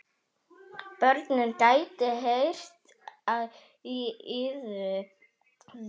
Börnin gætu heyrt í yður.